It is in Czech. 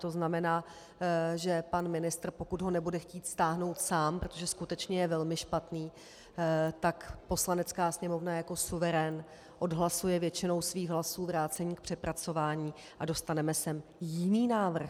To znamená, že pan ministr, pokud ho nebude chtít stáhnout sám, protože skutečně je velmi špatný, tak Poslanecká sněmovna jako suverén odhlasuje většinou svých hlasů vrácení k přepracování a dostaneme sem jiný návrh.